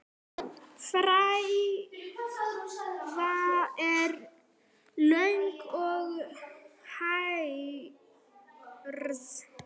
Frævan er löng og hærð.